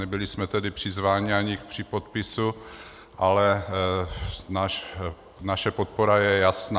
Nebyli jsme tedy přizváni ani k připodpisu, ale naše podpora je jasná.